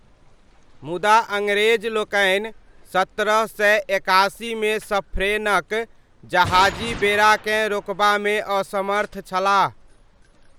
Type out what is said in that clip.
मुदा अङ्ग्रेजलोकनि सत्रह सय एकासीमे सफ्रेनक जहाजी बेड़ाकेँ रोकबामे असमर्थ छलाह।